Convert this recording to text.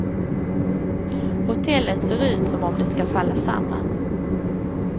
Hotellet ser ut som om det ska falla samman.